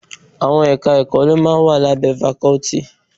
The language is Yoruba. Àwọn Ẹ̀ka-ẹ̀kọ́ ló máa ń wà lábẹ́ fakọ́tì